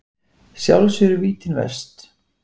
Sjálfs eru vítin verst.